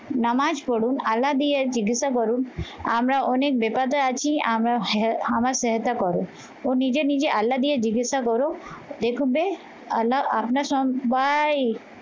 নামাজ পড়ুন আলাদি আর জিজ্ঞাসা করুন আমরা অনেক বিপদে আছি আমরা আমার সহায়তা কর। ও নিজে নিজে আল্লা দিয়ে জিজ্ঞাসা করো দেখবে আল্লা আপনারা সব্বাই